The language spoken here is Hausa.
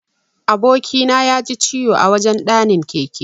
Aboki na yaji ciwo a wajan ɗanin keke.